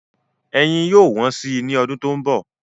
Ẹyin yóò wọ́n sí i ní ọdún tó ń bọ̀.